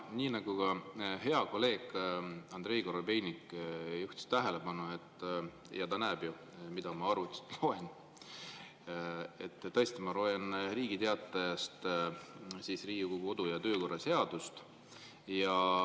Nii nagu hea kolleeg Andrei Korobeinik juhtis tähelepanu – ta näeb ju, mida ma arvutist loen –, tõesti, ma loen Riigi Teatajast Riigikogu kodu- ja töökorra seadust.